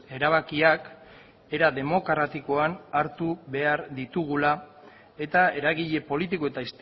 erabakiak era demokratikoan hartu behar ditugula eta eragile politiko eta